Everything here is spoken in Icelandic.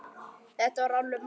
Þetta var alveg magnað!